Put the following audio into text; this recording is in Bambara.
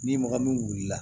Ni mɔgɔ min wulila